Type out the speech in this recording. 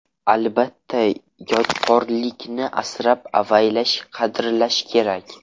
Albatta, yodgorlikni asrab-avaylash, qadrlash kerak.